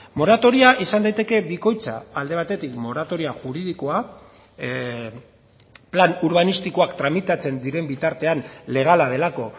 moratoria izan daiteke bikoitza alde batetik moratoria juridikoa plan urbanistikoak tramitatzen diren bitartean legala delako